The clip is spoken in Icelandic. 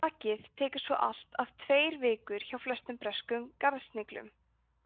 klakið tekur svo allt að tveir vikur hjá flestum breskum garðsniglum